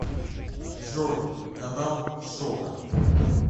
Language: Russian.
джой канал шока